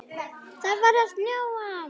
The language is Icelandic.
Það er farið að snjóa.